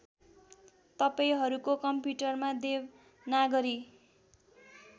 तपाईँहरूको कम्प्युटरमा देवनागरी